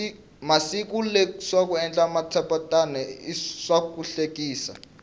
masiku lawa ku endla matshopetana swahlekisa